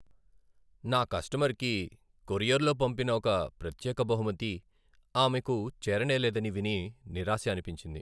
నా కస్టమర్కి కొరియర్లో పంపిన ఒక ప్రత్యేక బహుమతి ఆమెకు చేరనేలేదని విని నిరాశ అనిపించింది.